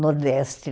Nordeste